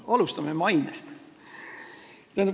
Alustame mainest.